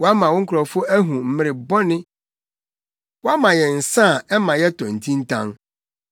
Woama wo nkurɔfo ahu mmere bɔne; woama yɛn nsa a ɛma yɛtɔ ntintan.